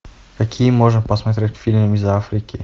какие можно посмотреть фильмы из африки